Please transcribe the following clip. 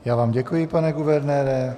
Já vám děkuji, pane guvernére.